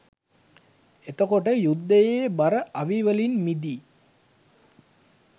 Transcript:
එතකොට යුද්ධයේ බර අවි වලින් මිදී